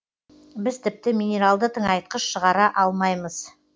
біз тіпті минералды тыңайтқыш шығара алмаймыз